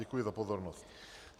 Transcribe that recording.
Děkuji za pozornost.